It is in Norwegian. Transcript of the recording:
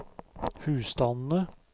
husstandene